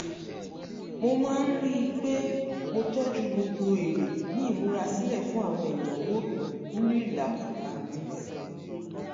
mo máa ń rí i pé mo tọ́jú gbogbo èrè ní ìmúra sílẹ̀ fún àwọn ìnáwó nínú ìlàkàkà mi